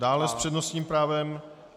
Dále s přednostním právem....